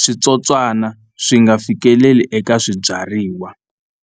switsotswana swi nga fikeleli eka swibyariwa.